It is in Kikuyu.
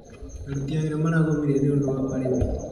Aruti wĩra maragomire nĩũndũ wa marĩhi